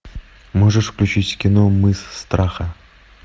можешь включить кино мыс страха